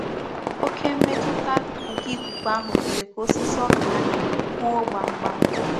Oke mmetuta nke ikuku ahu mere ka osisi oka anyi huo kpam kpam.